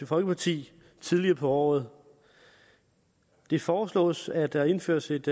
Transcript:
folkeparti tidligere på året det foreslås at der indføres et